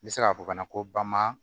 N bɛ se k'a fɔ ka na ko bama